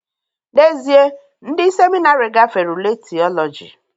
N'ezie, ndị seminarị gafere ule Theology